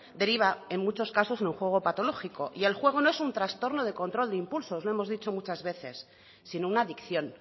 deriva en muchos casos en un juego patológico y el juego no es un trastorno de control de impulsos lo hemos dicho muchas veces sino una adicción